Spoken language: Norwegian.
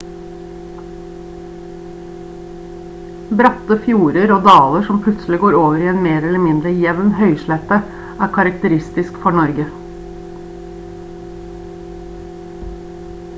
bratte fjorder og daler som plutselig går over i en mer eller mindre jevn høyslette er karakteristisk for norge